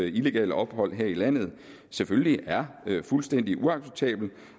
illegale ophold her i landet selvfølgelig er fuldstændig uacceptabelt